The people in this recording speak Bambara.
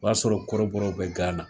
O y'a sɔrɔ kɔrɔbɔrɔw bɛ Gana